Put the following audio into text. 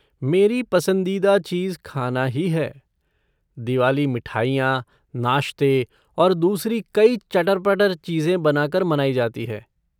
मेरी पसंदीदा चीज़ खाना ही है। दिवाली मिठाइयाँ, नाश्ते और दूसरी कई चटर पटर चीजें बनाकर मनाई जाती है।